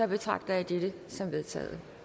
betragter jeg dette som vedtaget